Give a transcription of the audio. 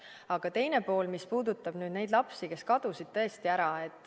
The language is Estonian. Aga teine pool, mis puudutab nüüd neid lapsi, kes kadusid tõesti ära.